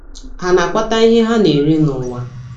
Ha na - akpata ihe ha na - eri n’ụwa.